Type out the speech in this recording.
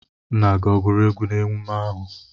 Nna gi oguru egwu na emume ahu?